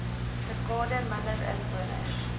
dekade minder inwoners